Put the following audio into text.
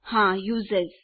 હા યુઝર્સ